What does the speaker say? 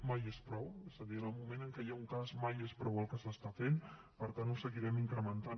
mai és prou és a dir en el moment en què hi ha un cas mai és prou el que s’està fent per tant ho seguirem incrementant